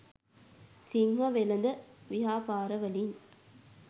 සිංහ වෙළෙඳ ව්‍යාපාරවලින්